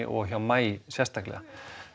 og hjá maí sérstaklega